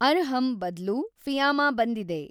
ಅರ್ಹಂ ಬದ್ಲು ಫಿ಼ಯಾಮಾ ಬಂದಿದೆ